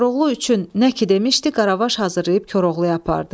Koroğlu üçün nə ki demişdi, Qaravaş hazırlayıb Koroğluya apardı.